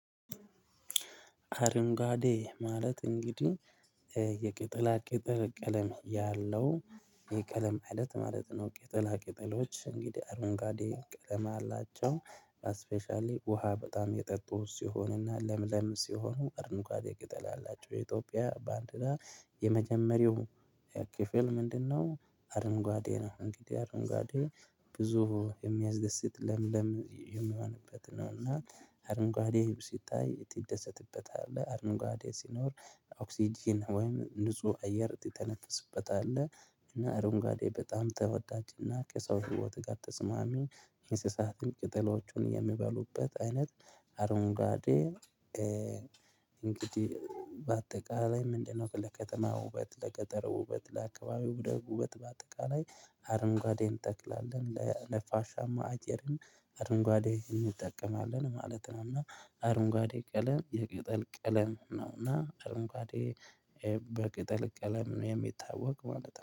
አረንጋዴ ማለት እንግዲህ የቅጥላ ቅጥል ቀለም ያለው የቀለም አይነት ማለት ነው። ቂጠላ ቂጠሎች እንግዲህ አረንጓጋዴ ቀለም አላቸው እስፔሻሊ ውሃ በጣም የጠጡ ሲሆንና ለምለም ሲሆኑ አረንጓዴ ቅጠል አላቸው የኢትዮጵያ ባንድራ የመጀመሪያው ከክፍል ምንድነው አረንጓዴ ነው? እንግዲህ አረንጓዴ ብዙ የሚያስደስት ለምለም የሚሆንበት ነው። እና አርንጓዴ ሲታይ ትደሰትበታለህ አርንጓዴ ሲኖር ኦክስጅን ወይም ንጹህ አየር ትተነፈስበት አለህ። እና አረንጓዴ በጣም ተወዳጅና ከሰው ህይወት ጋ ተስማሚ እንስሳትን ቅጠሎቹን የሚበሉበት አይነት። አሮንጓዴ እንግዲህ በአጠቃላይ ምንድነው? ለከተማ ውበት ለቀጠሮ ውበት ለአካባቢ ውበት በአጠቃላይ አረንጓዴን ጠቅላላ ለነፋሻማ አየርም አርንጓዴ እንጠቀማለን ማለት ነው። እና አርንጓዴ ቀለም የቅጠል ቀለም ነውና አርንጓዴ በቅጠል ቀለም ነው የሚታወቅ ማለት ነው